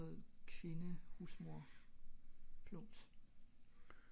det er ikke sådan noget kvinde husmor plums